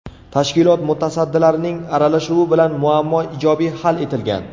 Tashkilot mutasaddilarining aralashuvi bilan muammo ijobiy hal etilgan.